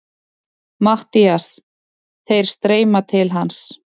MATTHÍAS: Þeir streyma til hans.